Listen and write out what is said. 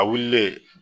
A wililen